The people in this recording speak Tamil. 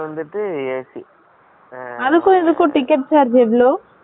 அதுக்கும் இதுக்கும் ticket charge எவலொ என்ன difference சு